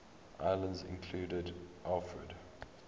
islands included alfred